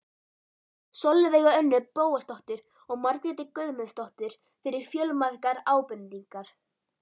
Sólveigu Önnu Bóasdóttur og Margréti Guðmundsdóttur fyrir fjölmargar ábendingar.